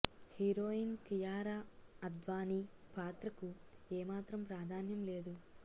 heroine Kiara Advani పాత్రకు ఏ మాత్రం ప్రాధాన్యం లేదు